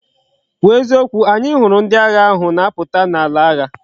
Kwu o eziokwu! anya huru ndi agha ahu na aputa na ala agha!